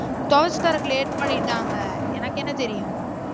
துவச்சி தரத்துக்கு late பண்ணிட்டாங்க எனக்கு என்ன தெரியும்.